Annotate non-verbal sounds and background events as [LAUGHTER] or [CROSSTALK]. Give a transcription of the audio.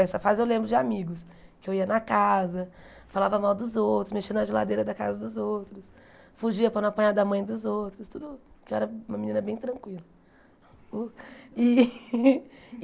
Essa fase eu lembro de amigos, que eu ia na casa, falava mal dos outros, mexia na geladeira da casa dos outros, fugia para não apanhar da mãe dos outros, tudo, porque eu era uma menina bem tranquila. E [LAUGHS]